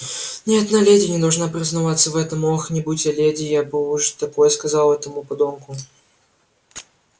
ни одна леди не должна признаваться в этом ох не будь я леди я бы уж такое сказала этому подонку